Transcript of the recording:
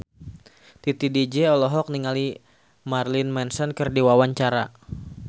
Titi DJ olohok ningali Marilyn Manson keur diwawancara